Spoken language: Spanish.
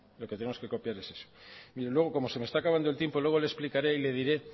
y como se me está acabando el tiempo luego le explicaré y le diré